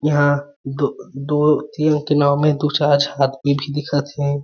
इहा दो दो तीन ठी नांव में दू चार झ आदमी भी दिखत हे।